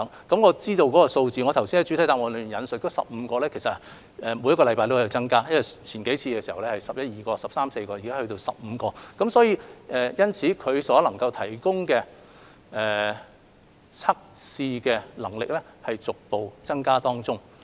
據我所知道的數字，我剛才在主體答覆引述15間，但其實每星期都在增加，之前是十一二間、十三四間，現在已增至15間，所以，它們所提供的測試能力正在逐步增加。